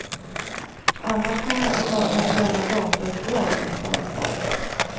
Annars kan jag inte ta eventuella datautdrag på mitt ansvar.